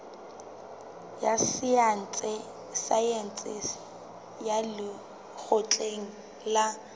ya saense ya lekgotleng la